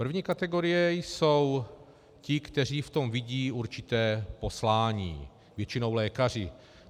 První kategorie jsou ti, kteří v tom vidí určité poslání, většinou lékaři.